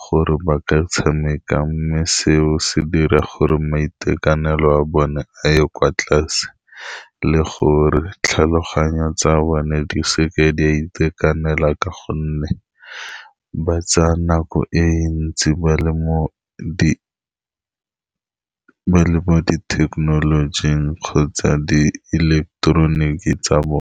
gore ba ka tshameka, mme seo se dira gore maitekanelo a bone a ye kwa tlase, le gore tlhaloganyo tsa bone di seka di a itekanela, ka gonne ba tsaya nako e ntsi ba le mo di, ba le mo di thekenolojing kgotsa di ileketeroniki tsa bone.